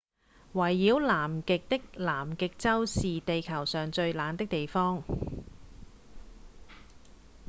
圍繞南極的南極洲是地球上最冷的地方